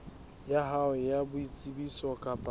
ya hao ya boitsebiso kapa